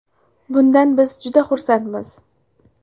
Bundan biz juda xursandmiz.